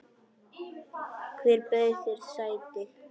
Hver bauð þér sæti?